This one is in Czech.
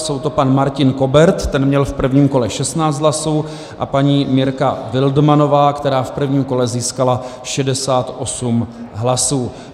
Jsou to pan Martin Kobert, ten měl v prvním kole 16 hlasů, a paní Mirka Wildmannová, která v prvním kole získala 68 hlasů.